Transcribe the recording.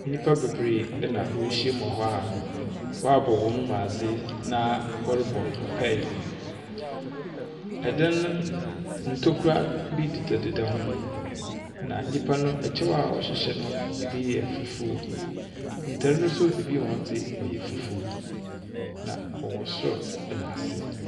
Nnipa bebree na woehyiam wɔ ha a wɔabɔ hɔn mu adze na wɔrobɔ mpae. Dan no ntokua bi dedadeda ho, na nyipa no, ɔhyɛw a wɔhyehyɛ no, ibi yɛ fufuo. Ntar no nso ebi hɔn dze ɔyɛ fufuw, na wɔwɔ sor na ase.